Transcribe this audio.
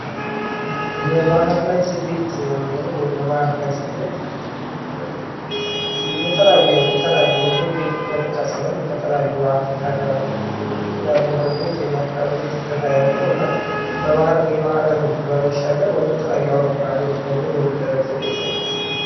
የባህር ላይ ስደት የምንለው ወይም በባህር ላይ ስደት የተለያዩ በኢትዮጵያ ብቻ ሳይሆን የተለያዩ የአፍሪካ ሀገሮች የሚያካሂዱት የስደት አይነት ነው።